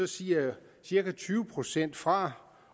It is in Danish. siger cirka tyve procent fra